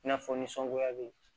I n'a fɔ nisɔngoya bɛ yen